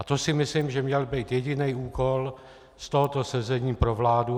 A to si myslím, že měl být jediný úkol z tohoto sezení pro vládu.